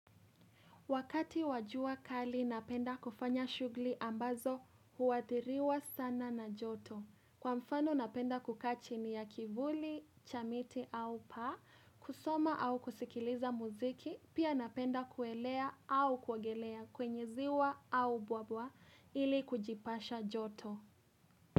Wakati wajua kali napenda kufanya shughuli ambazo huathiriwa sana na joto. Kwa mfano napenda kukaa chini ya kivuli, cha miti au paa, kusoma au kusikiliza muziki, pia napenda kuelea au kuogelea kwenye ziwa au buabwa ili kujipasha joto.